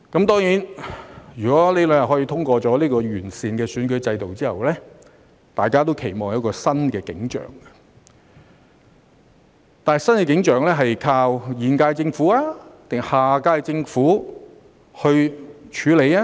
當然，如果這兩天可以通過這項完善選舉制度的法案後，大家都期望有一個新景象，但新景象是要靠現屆政府還是下屆政府來處理呢？